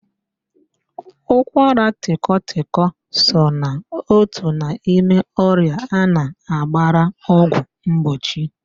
Ụkwaratịkọtịkọ so na otu n'ime ọrịa a na-agbara ọgwụ mgbochi